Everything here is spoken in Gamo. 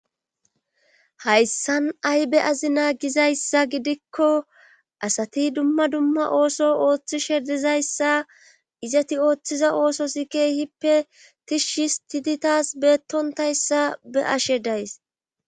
Hayssan aybe azi naa gizayssa gidikko asati dumma dumma ooso ooththishe dizayssa izati ooththiza ooso sikeyhippe tishshis tititas beettontayssa be ashe days.